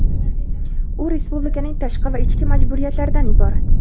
U respublikaning tashqi va ichki majburiyatlaridan iborat.